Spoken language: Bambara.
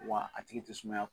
Wa a tigi tɛ sumaya.